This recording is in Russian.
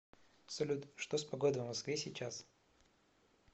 салют что с погодой в москве сейчас